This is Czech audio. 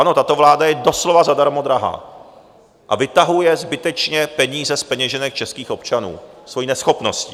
Ano, tato vláda je doslova zadarmo drahá a vytahuje zbytečně peníze z peněženek českých občanů svou neschopností.